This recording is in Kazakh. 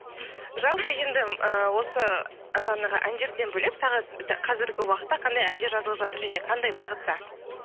жалпы енді ы осы жаңағы әндерден бөлек тағы қазіргі уақытта қандай әндер жазылып жатыр және қандай бағытта